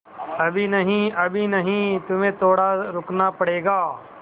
अभी नहीं अभी नहीं तुम्हें थोड़ा रुकना पड़ेगा